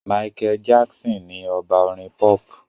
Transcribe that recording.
Michael Jackson ni ọba Orin pop.